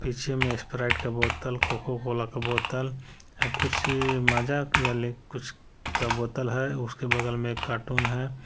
पीछे में स्प्राइट का बोतल कोका कोला का बोतल कुछ माजा किया ले कुछ का बोतल है उसके बगल में कार्टून है।